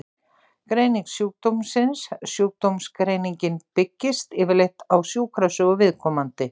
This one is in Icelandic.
Greining sjúkdómsins Sjúkdómsgreiningin byggist yfirleitt á sjúkrasögu viðkomandi.